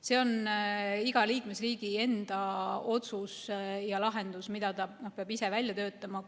See on iga liikmesriigi enda otsus ja lahendus, mille ta peab ise välja töötama.